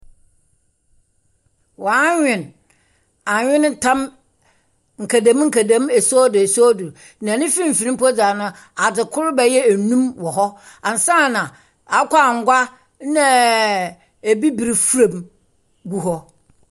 Wɔanwen anweneta nkadamnkadan esuodo esuodo. Na ne mfinfin mpo dze ɛno, adze kor baya enum wɔ hɔ, ansana akokɔangua naaaaa, ebibire fra mu gu hɔ.